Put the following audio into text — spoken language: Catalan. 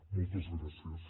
moltes gràcies